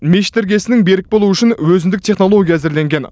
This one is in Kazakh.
мешіт іргесінің берік болуы үшін өзіндік технология әзірленген